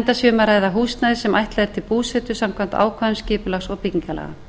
enda sé um að ræða húsnæði sem ætlað er til búsetu samkvæmt ákvæðum skipulags og byggingarlaga